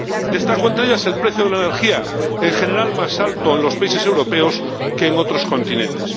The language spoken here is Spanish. Destaco, entre ellas, el precio de la energía, en general más alto en los países europeos que en otros continentes.